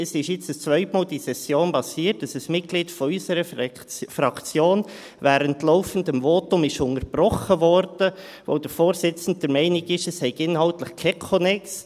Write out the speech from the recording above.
Es ist zum zweiten Mal während dieser Session passiert, dass ein Mitglied unserer Fraktion während des Votums unterbrochen wurde, weil der Vorsitzende der Meinung war, es habe inhaltlich keinen Konnex.